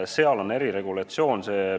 Seal on eriregulatsioon.